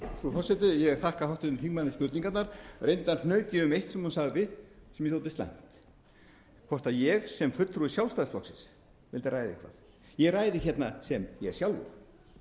forseti ég þakka háttvirtum þingmanni spurningarnar reyndar hnaut ég um eitt sem hún sagði sem mér þótti slæmt hvort ég sem fulltrúi sjálfstæðisflokksins mundi ræða eitthvað ég ræði hérna sem ég sjálfur